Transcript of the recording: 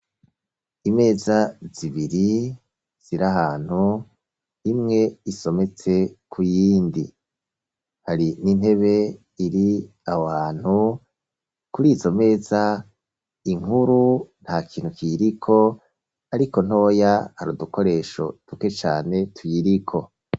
Imeza zibiri, ziri ahantu, imwe isometse ku yindi, hari n'intebe iri aho hantu, kuri izo meza, inkuru nta kintu kiyiriko, ariko ntoya, hari udukoresho duke cane tuyiriko.